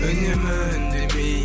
үнемі үндемей